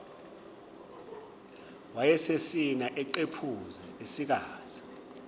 wayesesina eqephuza esikaza